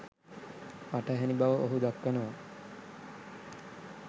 පටහැනි බව ඔහු දක්වනවා